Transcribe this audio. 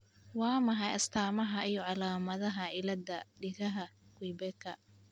Waa maxay astamaha iyo calaamadaha cilladda dhigaha Quebecka?